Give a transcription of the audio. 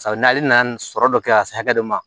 ale nana nin sɔrɔ dɔ kɛ ka se hakɛ dɔ ma